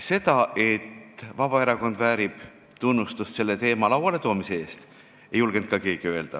Seda, et Vabaerakond väärib tunnustust selle teema lauale toomise eest, ei julgenud ka keegi vaidlustada.